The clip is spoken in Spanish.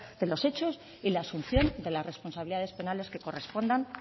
de los hechos y la asunción de las responsabilidades penales que correspondan